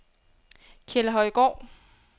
Kjeldhøjgård